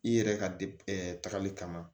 I yɛrɛ ka de tagali kama